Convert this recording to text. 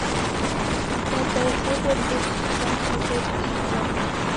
пятая серия третий сезон полицейский с рублевки